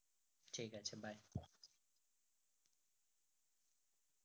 ঠিক আছে bye